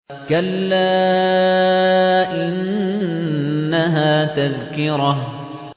كَلَّا إِنَّهَا تَذْكِرَةٌ